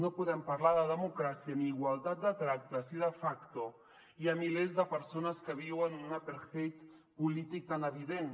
no podem parlar de democràcia ni igualtat de tracte si de facto hi ha milers de persones que viuen un apartheid polític tan evident